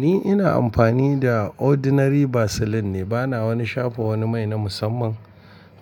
Ni ina amfani da ordinary vaseline ne bana wani shafa wani mai na musamman.